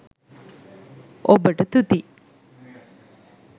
ඔබට තුති